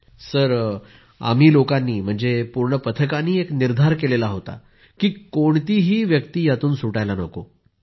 पूनम नौटियालः आम्ही लोकांनी पूर्ण पथकानं एक निर्धार केला होता की कोणतीही व्यक्ति यातून सुटायला नको